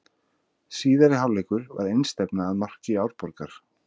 Síðari hálfleikur var einstefna að marki Árborgar.